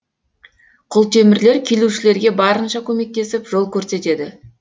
құлтемірлер келушілерге барынша көмектесіп жол көрсетеді